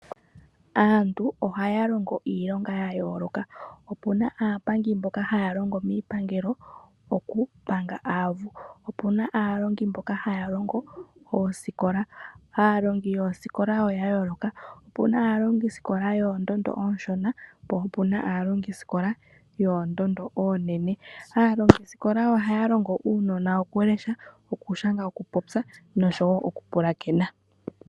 Aantu ohaya longo iilonga yayooloka. Opu na aapangi mboka haya longo miipangelo okupanga aavu, opu na aalongi mboka haya longo oosikola, aalongi yoosikola oya yooloka , opu na aalongi sikola yoondondo oonshona po opu na aalongi sikola yoondondo oonene. Aalongi sikola ohaya longo aanona okulesha ,okushanga, okupopya noshowoo okupulakena.